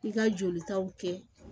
I ka jolitaw kɛ